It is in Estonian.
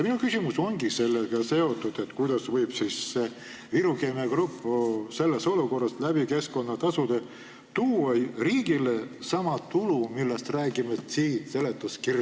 Minu küsimus ongi sellega seotud: kuidas ikkagi saab Viru Keemia Grupp selles olukorras keskkonnatasusid makstes tuua riigile sama tulu, millest siin seletuskirjas räägitakse?